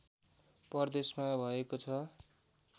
प्रदेशमा भएको छ